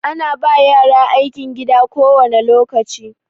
Ana ba yara aikin gida kowane lokaci.